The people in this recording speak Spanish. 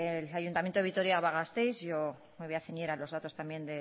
el ayuntamiento de vitoria gasteiz yo me voy a ceñir los datos también